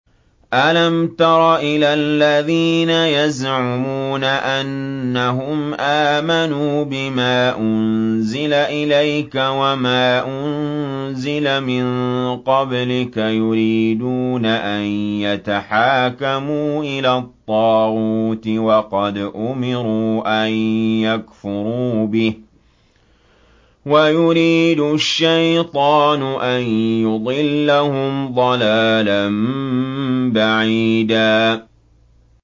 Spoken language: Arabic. أَلَمْ تَرَ إِلَى الَّذِينَ يَزْعُمُونَ أَنَّهُمْ آمَنُوا بِمَا أُنزِلَ إِلَيْكَ وَمَا أُنزِلَ مِن قَبْلِكَ يُرِيدُونَ أَن يَتَحَاكَمُوا إِلَى الطَّاغُوتِ وَقَدْ أُمِرُوا أَن يَكْفُرُوا بِهِ وَيُرِيدُ الشَّيْطَانُ أَن يُضِلَّهُمْ ضَلَالًا بَعِيدًا